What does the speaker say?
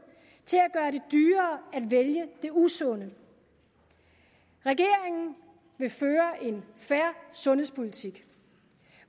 til at vælge det usunde regeringen vil føre en fair sundhedspolitik